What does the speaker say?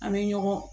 An bɛ ɲɔgɔn